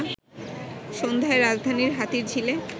সন্ধ্যায় রাজধানীর হাতিরঝিলে